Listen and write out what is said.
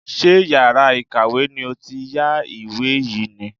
Ṣé yàrá ìkàwé ni ó ti yá ìwé yìí ni?